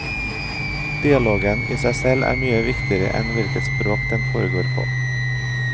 Dialogen i seg selv er mye viktigere enn hvilket språk den foregår på.